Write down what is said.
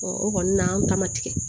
o kɔni na an ta ma tigɛ